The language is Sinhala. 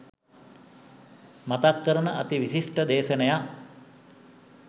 මතක් කරන අති විශිෂ්ඨ දේශනයක්.